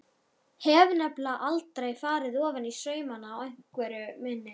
Hef nefnilega aldrei farið ofaní saumana á einveru minni.